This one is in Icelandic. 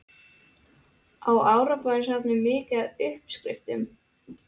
Á Árbæjarsafnið mikið af uppskriftum?